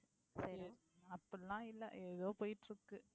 அப்படியெல்லாம் இல்லை ஏதோ போயிட்டு இருக்கு.